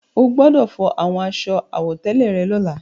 O gbọdọ̀ fọ àwọn aṣọ àwọ̀tẹ́lẹ̀ rẹ lọ́la.